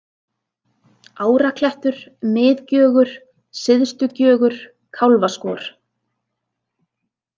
Áraklettur, Miðgjögur, Syðstugjögur, Kálfaskor